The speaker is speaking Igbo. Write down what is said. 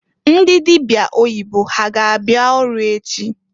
Ndị dịbịa oyibo ha ga abịa ọrụ echi?